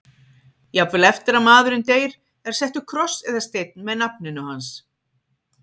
Jafnvel eftir að maðurinn deyr er settur kross eða steinn með nafninu hans.